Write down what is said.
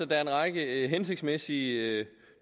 der er en række hensigtsmæssige